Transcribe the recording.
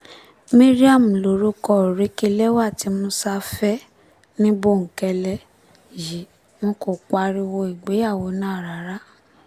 mariam lorúkọ òrékelẹ́wà tí musa fẹ́ ní bòńkẹ́lẹ́ yìí wọn kò pariwo ìgbéyàwó náà rárá